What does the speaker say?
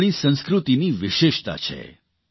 આ આપણી સંસ્કૃતિની વિશેષતા છે